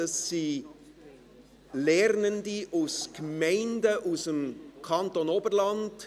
Es sind Lernende aus Gemeinden aus dem Kanton Oberland.